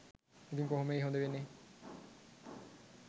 ඉතින් කොහොමෙයි හොඳ වෙන්නේ